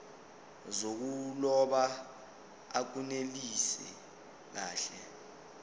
zokuloba akunelisi kahle